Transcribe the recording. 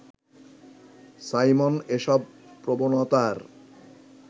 Simon এসব প্রবণতার